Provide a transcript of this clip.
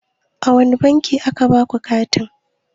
A wane banki a ka baku takin?